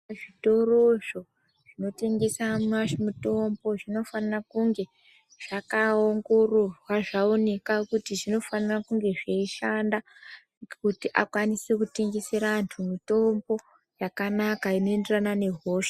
Zvitoro zvo zvinotengesa mitombo zvinofanira kunge zvakaongororwa zvoneka kuti zvinofanire kunge zveishanda kuti akwanise kutengesere antu mitombo yakanaka inoenderana nehosha .